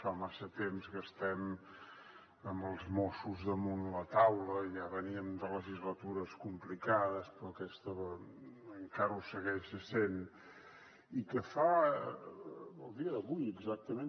fa massa temps que estem amb els mossos damunt la taula ja veníem de legislatures complicades però aquesta encara ho segueix essent i que fa el dia d’avui exactament